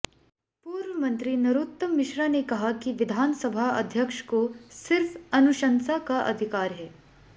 पूर्व मंत्री नरोत्तम मिश्रा ने कहा कि विधानसभा अध्यक्ष को सिर्फ अनुशंसा का अधिकार है